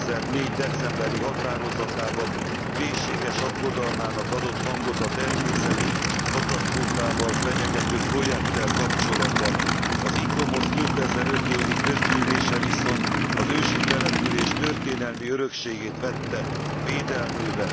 2004. decemberi határozatában mélységes aggodalmának adott hangot a természeti katasztrófával fenyegető projekttel kapcsolatban. Az Icomos 2005. évi közgyűlése viszont az ősi település történelmi örökségét vette védelmébe.